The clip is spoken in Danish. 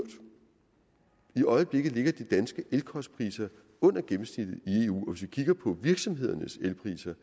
i øjeblikket ligger de danske elkostpriser under gennemsnittet i eu hvis vi kigger på virksomhedernes elpriser